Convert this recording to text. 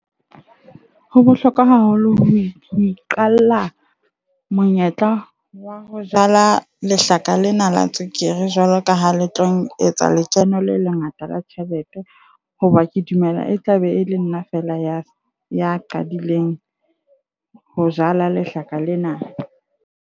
Ho bohlokwa haholo ho iqalla monyetla wa ho jala lehlaka lena la tswekere, jwalo ka ha le tlo etsa la lekeno le lengata le tjhelete. Hoba ke dumela e tla be e le nna fela ya ya qadileng ho jala lehlaka lena.